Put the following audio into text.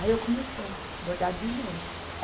Aí eu comecei bordar dia e noite.